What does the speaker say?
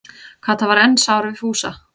Kata var enn sár við Fúsa.